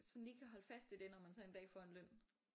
Så lige holde fast i det når man så en dag får en løn